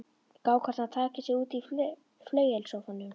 Gá hvernig hann tæki sig út í flauelssófanum.